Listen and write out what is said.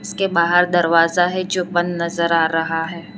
के बाहर दरवाजा है जो बंद नजर आ रहा है।